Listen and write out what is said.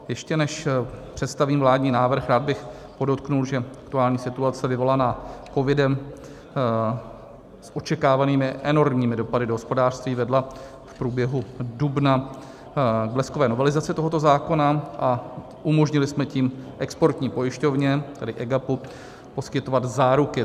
Ještě než představím vládní návrh, rád bych podotkl, že aktuální situace vyvolávaná covidem s očekávanými enormními dopady do hospodářství vedla v průběhu dubna k bleskové novelizaci tohoto zákona a umožnili jsme tím exportní pojišťovně, tedy EGAPu, poskytovat záruky.